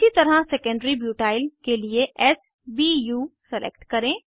इसी तरह secondary butyl के लिए s बू सेलेक्ट करें